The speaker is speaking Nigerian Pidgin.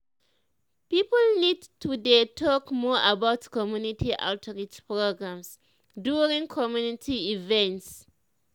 people need to dey talk more about community outreach programs during community events.